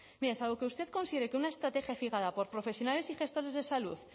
mire salvo que usted considere que una estrategia fijada por profesionales y gestores de salud